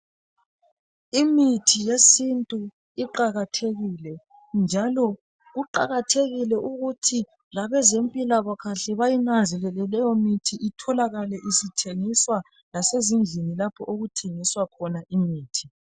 Imithi yesintu iqakathekile njalo kuqakathekile ukuthi labezempilakahle bayinanzelele leyo mithi itholakale isithengiswa lasezindlini lapho okuthengiswa imithi.